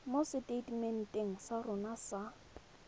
mo seteitementeng sa rona sa